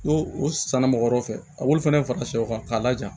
N'o o san na mɔgɔ wɛrɛw fɛ a b'olu fana fara sɛw kan k'a laja